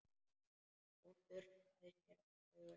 Hún þurrkar sér um augun.